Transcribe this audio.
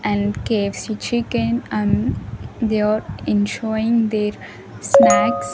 and K_F_C chicken and they are ensoying their snacks.